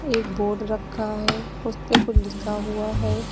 एक बोर्ड रखा है उसपे कुछ लिखा हुआ है।